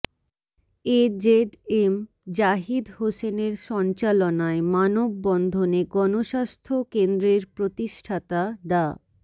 AZM Zahid হোসেনের সঞ্চালনায় মানববন্ধনে গণস্বাস্থ্য কেন্দ্রের প্রতিষ্ঠাতা ডা